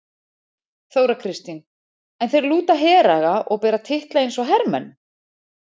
Þóra Kristín: En þeir lúta heraga og bera titla eins og hermenn?